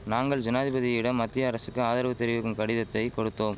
நாங்கள் ஜனாதிபதியிடம் மத்திய அரசுக்கு ஆதரவு தெரிவிக்கும் கடிதத்தை கொடுத்தோம்